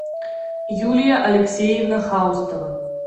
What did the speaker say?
юлия алексеевна хаустова